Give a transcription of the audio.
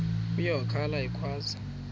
uye wakhala ekhwaza